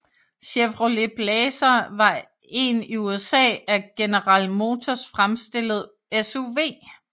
Chevrolet Blazer var en i USA af General Motors fremstillet SUV